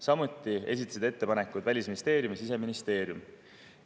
Samuti esitasid ettepanekud Välisministeerium ja Siseministeerium.